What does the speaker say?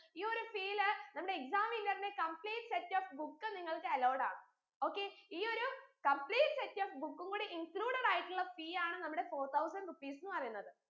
E ഒരു fee ൽ നമ്മടെ exam winner ന്റെ complete set of book നിങ്ങൾക്ക് allowed ആണ് okay ഈ ഒരു complete set of book ഉം കൂടി included ആയിട്ടുള്ള fee ആണ് നമ്മടെ four thousand rupees ന്ന് പറയിന്നത്